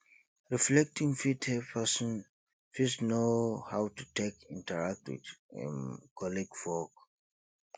reflecting fit help person fit know how to take interact with im colleague for work